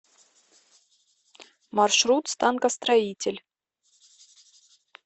маршрут станкостроитель